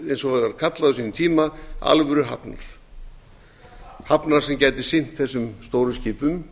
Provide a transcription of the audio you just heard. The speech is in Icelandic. eins og það var kallað á sínum tíma alvöruhafnar hafnar sem gæti sinnt þessum stóru skipum